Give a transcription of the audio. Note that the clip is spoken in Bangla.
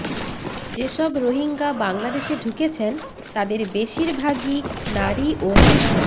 যেসব রোহিঙ্গা বাংলাদেশে ঢুকেছেন তাদের বেশিরভাগই নারী ও শিশু